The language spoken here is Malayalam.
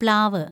പ്ലാവ്